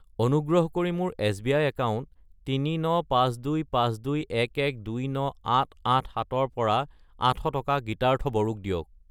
অনুগ্ৰহ কৰি মোৰ এছ.বি.আই. একাউণ্ট 3952521129887 ৰ পৰা 800 টকা গীতাৰ্থ বড়ো ক দিয়ক।